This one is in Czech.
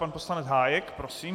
Pan poslanec Hájek, prosím.